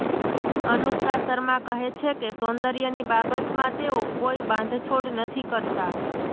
અનુષ્કા શર્મા કહે છે કે સૌંદર્યની બાબતમાં તેઓ કોઈ બાંધછોડ નથી કરતાં